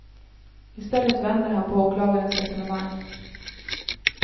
I stället vänder han på åklagarens resonemang.